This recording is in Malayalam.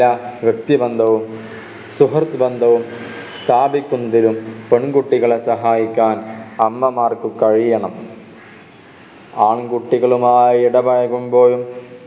ല്ല വ്യക്തിബന്ധവും സുഹൃത്ത്ബന്ധവും സ്ഥാപിക്കുന്നതിനും പെൺകുട്ടികളെ സഹായിക്കാൻ അമ്മമാർക്ക് കഴിയണം. ആൺകുട്ടികളുമായി ഇടപെഴകുമ്പോഴും